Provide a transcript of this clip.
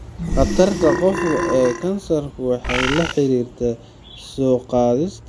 Khatarta qofka ee kansarku waxay la xiriirtaa soo-gaadhista shucaaca UV ee cimrigiisa.